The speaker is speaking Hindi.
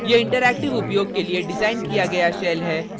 * यह interactive उपयोग के लिए डिज़ाइन किया गया shell है